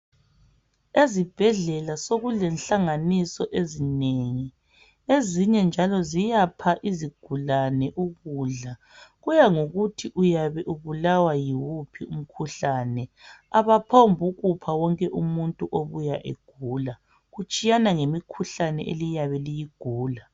Ezibhedlela sokulenhlanganiso ezinengi. Ezinye njalo ziyapha izigulane ukudla, kuya ngokuthi uyabe ubulawa yiwuphi umkhuhlane. Abaphombukupha wonke umuntu obuya egula, kutshiyana ngemikhuhlane eliyabe liyigula.